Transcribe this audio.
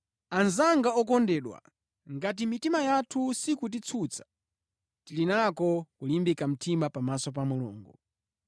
Anzanga okondedwa, ngati mitima yathu sikutitsutsa, tili nako kulimbika mtima pamaso pa Mulungu.